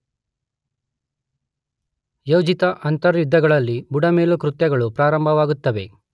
ಯೋಜಿತ ಅಂತರ್ಯುದ್ಧಗಳಲ್ಲಿ ಬುಡಮೇಲು ಕೃತ್ಯಗಳು ಪ್ರಾರಂಭವಾಗುತ್ತವೆ.